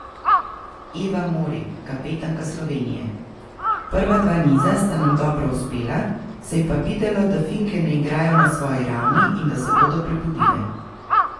Eva Mori, kapetanka Slovenije: 'Prva dva niza sta nam dobro uspela, se je pa videlo, da Finke ne igrajo na svoji ravni in da se bodo prebudile.